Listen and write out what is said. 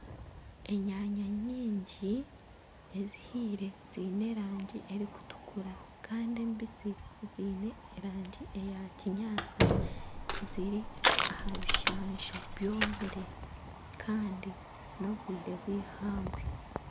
Enyanya nyingi ezihiire ziine erangi erikutukura kandi embisi ziine erangi eya kinyaantsi ziri aha bishansha byomire kandi n'obwire bwihangwe.